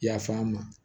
Yaf'an ma